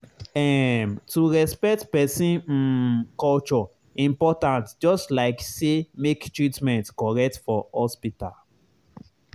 ehm to respect person um culture important just like say make treatment correct for hospital.